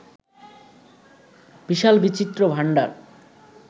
বিশাল বিচিত্র ভাণ্ডার